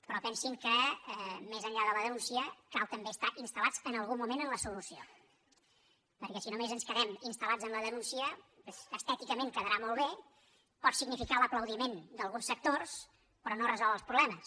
però pensin que més enllà de la denúncia cal també estar instal·lats en algun moment en la solució perquè si només ens quedem instal·denúncia estèticament deu quedar molt bé pot significar l’aplaudiment d’alguns sectors però no resol els problemes